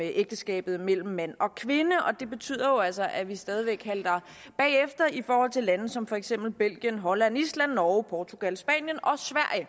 ægteskabet mellem mand og kvinde og det betyder jo altså at vi stadig væk halter bagefter i forhold til lande som for eksempel belgien holland island norge portugal spanien og